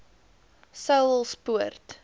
saulspoort